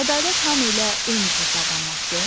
Ədalət hamı ilə eyni cür davranmaqdır?